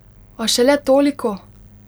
A šele toliko!